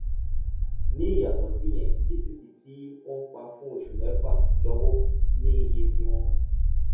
ní ìyàtò síyẹn btc tí wọn ti pa fún oṣù mẹfà lọwọ ní iye tí wọn